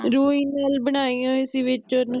ਰੂਈ ਨਾਲ ਬਣਾਈਆ ਹੋਈ ਸੀ ਵਿਚ ਓਹਨੂੰ